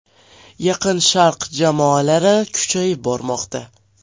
Yaqin Sharq jamoalari kuchayib bormoqda.